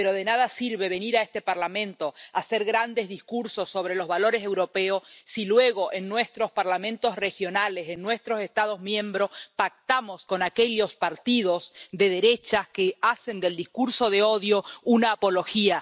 Pero de nada sirve venir a este Parlamento a hacer grandes discursos sobre los valores europeos si luego en nuestros parlamentos regionales, en nuestros Estados miembros, pactamos con aquellos partidos de derechas que hacen del discurso de odio una apología